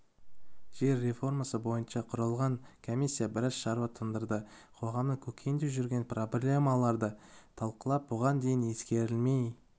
жер реформасы бойынша құрылған комиссия біраз шаруа тындырды қоғамның көкейінде жүрген проблемаларды талқылап бұған дейін ескерілмей